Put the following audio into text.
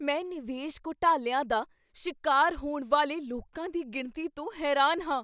ਮੈਂ ਨਿਵੇਸ਼ ਘੁਟਾਲਿਆਂ ਦਾ ਸ਼ਿਕਾਰ ਹੋਣ ਵਾਲੇ ਲੋਕਾਂ ਦੀ ਗਿਣਤੀ ਤੋਂ ਹੈਰਾਨ ਹਾਂ।